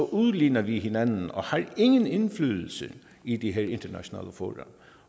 udligner vi hinanden og har ingen indflydelse i de her internationale fora